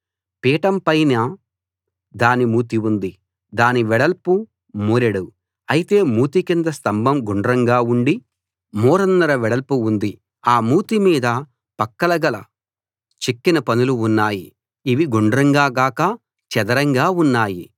పీఠం పైన దాని మూతి ఉంది దాని వెడల్పు మూరెడు అయితే మూతి కింద స్తంభం గుండ్రంగా ఉండి మూరన్నర వెడల్పు ఉంది ఆ మూతి మీద పక్కలు గల చెక్కిన పనులు ఉన్నాయి ఇవి గుండ్రంగా గాక చదరంగా ఉన్నాయి